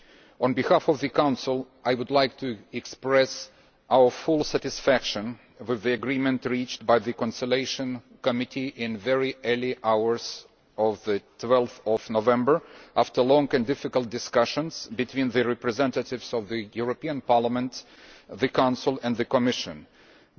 On behalf of the Council, I would like to express our full satisfaction with the agreement reached by the Conciliation Committee in the very early hours of 12 November, after long and difficult discussions between the representatives of the European Parliament, the Council and the Commission, and